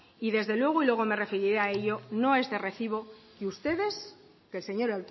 y desde luego luego me referiré a ello no es de recibo que ustedes que el señor